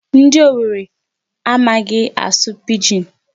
Ndi Owere amaghị asụ Pidgin.